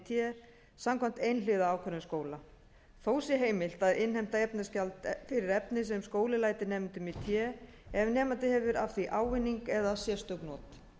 té samkvæmt einhliða ákvörðun skóla þó sé heimilt að innheimta efnisgjald fyrir efni sem skóli lætur nemendum í té ef nemandi hefur af því ávinning eða sérstök not